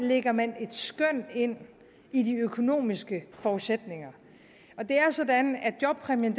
lægger man et skøn ind i de økonomiske forudsætninger det er sådan at jobpræmien